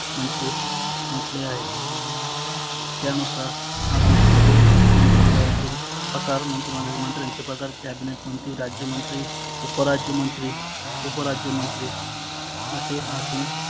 म्हटले म्हटले आहे. त्यानुसार आजुन पुढचे मंत्री मंडळातील आकार मंत्री मंडळातील मंत्र्यांचे प्रकार cabinet मंत्री, राज्य मंत्री, उप राज्यमंत्री, उप राज्यमंत्री आसे असुन